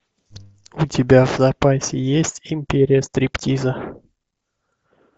у тебя в запасе есть империя стриптиза